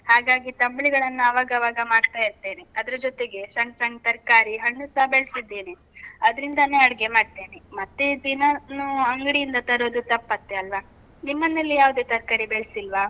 ಹಾಗಾಗಿ ತಂಬ್ಳಿಗಳನ್ನ ಅವಾಗವಾಗ ಮಾಡ್ತಾ ಇರ್ತೇನೆ. ಅದ್ರ ಜೊತೆಗೆ ಸಣ್ಣ್ ಸಣ್ಣ್ ತರ್ಕಾರಿ, ಹಣ್ಣುಸ ಬೆಳ್ಸಿದ್ದೇನೆ. ಅದ್ರಿಂದಾನೇ ಅಡ್ಗೆ ಮಾಡ್ತೇನೆ. ಮತ್ತೆ ದಿನಾನೂ ಅಂಗ್ಡಿಯಿಂದ ತರೋದು ತಪ್ಪತ್ತೆ ಅಲ್ವಾ? ನಿಮ್ಮನೇಲಿ ಯಾವುದೇ ತರ್ಕಾರಿ ಬೆಳ್ಸಿಲ್ವ?